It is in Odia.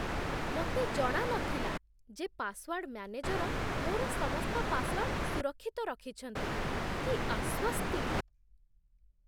ମୋତେ ଜଣା ନଥିଲା ଯେ ପାସୱାର୍ଡ ମ୍ୟାନେଜର ମୋର ସମସ୍ତ ପାସୱାର୍ଡ ସୁରକ୍ଷିତ ରଖିଛନ୍ତି। କି ଆଶ୍ୱସ୍ତି!